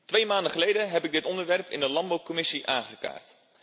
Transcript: Twee maanden geleden heb ik dit onderwerp in de Landbouwcommissie aangekaart.